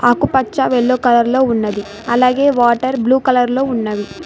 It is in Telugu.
ఆకుపచ్చ వెల్లో కలర్లో ఉన్నది అలాగే వాటర్ బ్లూ కలర్లో ఉన్నవి.